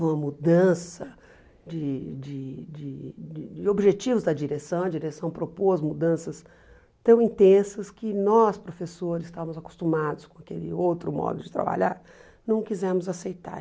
uma mudança de de de de de objetivos da direção, a direção propôs mudanças tão intensas que nós, professores, estávamos acostumados com aquele outro modo de trabalhar, não quisemos aceitar.